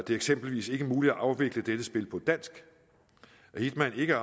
er eksempelvis ikke muligt at afvikle dette spil på dansk at hitman ikke